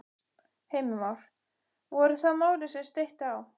Heimir Már: Voru það málin sem steytti á?